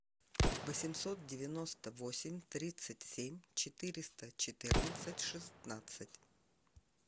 восемьсот девяносто восемь тридцать семь четыреста четырнадцать шестнадцать